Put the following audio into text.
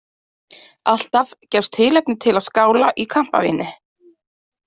Alltaf gefst tilefni til að skála í kampavíni.